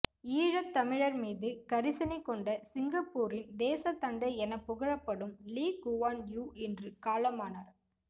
ஈழத் தமிழர் மீது கரிசனை கொண்ட சிங்கப்பூரின் தேசத் தந்தை எனப் புகழப்படும் லீ குவான் யூ இன்று காலமானார்